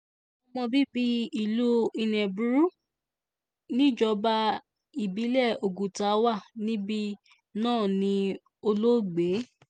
ọmọ bíbí ìlú nnebukwu níjọba ìbílẹ̀ oguta wà níbí náà ní olóògbé